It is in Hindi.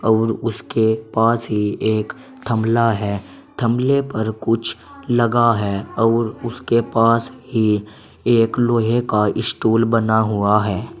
अउर उसके पास ही एक थमला है थमले पर कुछ लगा है अउर उसके पास ही एक लोहे का स्टूल बना हुआ है।